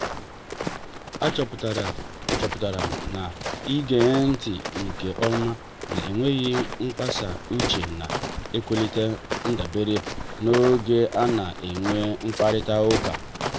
a chọpụtara chọpụtara m na-ige ntị nke ọma na enweghị mkpasa uche na-ewelite ndabere n'oge ana-enwe mkparita ụka